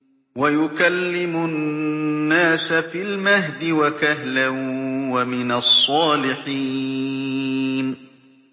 وَيُكَلِّمُ النَّاسَ فِي الْمَهْدِ وَكَهْلًا وَمِنَ الصَّالِحِينَ